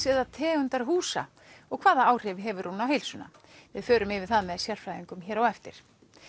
eða tegundar húsa og hvaða áhrif hefur hún á heilsuna við förum yfir það með sérfræðingum hér á eftir